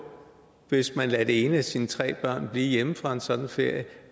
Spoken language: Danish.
hvis man lader det ene af sine tre børn blive hjemme fra en sådan ferie